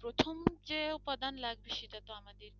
প্রথম যে উপাদান লাগবে সেটা তো আমাদের